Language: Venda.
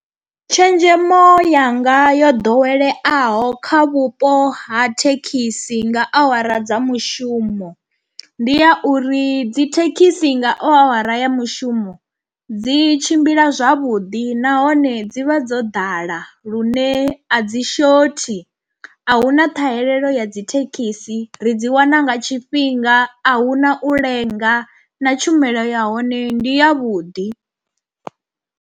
Tshenzhemo yanga yo ḓoweleaho kha vhupo ha thekhisi nga awara dza mushumo ndi ya uri dzi thekhisi nga awara ya mushumo dzi tshimbila zwavhuḓi nahone dzi vha dzo ḓala lune a dzi shothi. Ahuna ṱhahelelo ya dzi thekhisi ri dzi wana nga tshifhinga, a hu na u lenga na tshumelo ya hone ndi ya vhuḓi.